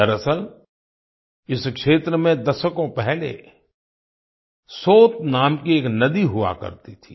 दरअसल इस क्षेत्र में दशकों पहले सोत नाम की एक नदी हुआ करती थी